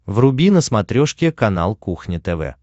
вруби на смотрешке канал кухня тв